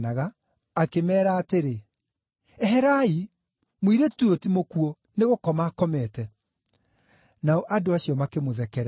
akĩmeera atĩrĩ, “Eherai. Mũirĩtũ ũyũ ti mũkuũ, nĩ gũkoma akomete.” Nao andũ acio makĩmũthekerera.